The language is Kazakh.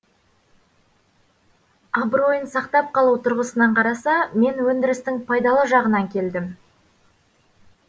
абыройын сақтап қалу тұрғысынан қараса мен өндірістің пайдалы жағынан келдім